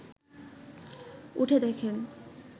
উঠে দেখেন